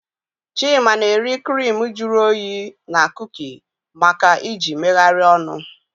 Chima na-eri crimu juru oyi na kuki maka iji megharịa ọnụ.